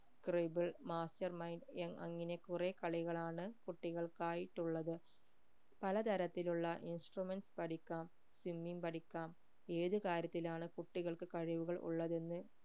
scribble mastermind young അങ്ങനെ കുറെ കളികളാണ് കുട്ടികൾക്കായിട്ട് ഉള്ളത് പലതരത്തിലുള്ള instruments പഠിക്കാം swimming പഠിക്കാം ഏത് കാര്യത്തിലാണ് കുട്ടികൾക്ക് കഴിവുകൾ ഉള്ളതെന്ന്